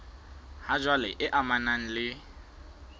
ha jwale e amanang le